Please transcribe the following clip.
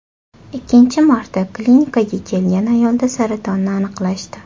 Ikkinchi marta klinikaga kelgan ayolda saratonni aniqlashdi.